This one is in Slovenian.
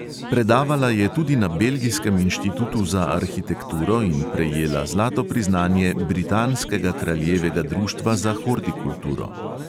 Predavala je tudi na belgijskem inštitutu za arhitekturo in prejela zlato priznanje britanskega kraljevega društva za hortikulturo.